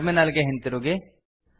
terminal ಗೆ ಹಿಂತಿರುಗಿ